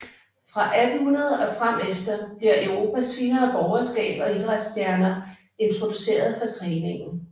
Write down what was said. Fra 1800 og frem efter bliver Europas finere borgerskab og idræts stjerner introduceret for træningen